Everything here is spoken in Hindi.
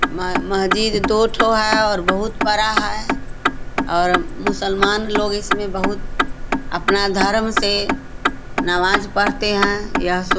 म मस्जिद दो ठो है और बहुत बड़ा है और मुसलमान लोग इसमें बहुत अपना धर्म से नमाज पढ़ते हैं। यह सो --